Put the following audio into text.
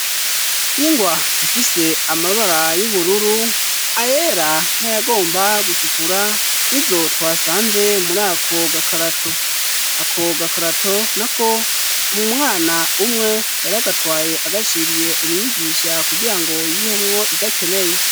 Ingwa zifise amabara y'ubururu ayera nayagomba gutukura ni zotwasanze muri akogakarato ako gakarato na ko umumwana umwe yaragatwaye agashiriye umwigisha kugira ngo yihemwo idakeneye.